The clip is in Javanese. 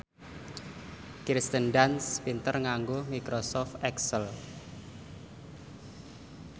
Kirsten Dunst pinter nganggo microsoft excel